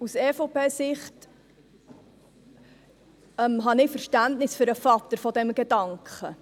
Aus EVP-Sicht habe ich Verständnis für den Vater des Gedankens.